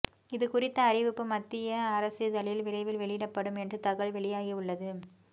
இது குறித்த அறிவிப்பு மத்திய அரசிதழில் விரைவில் வெளியிடப்படும் என்று தகவல் வெளியாகி உள்ளது